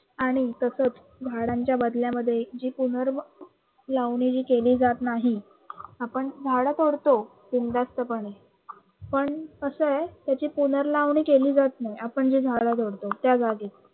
आणि तसेच झाडांच्या बदल्या मध्ये जी पुर्नलावणी ही केली जात नाही. आपण झाड तोडतो बिंधास्तपणे, पण कस आहे त्याची पुर्नलावणी केली जात नाही आपण जे झाड तोडतो त्या जागी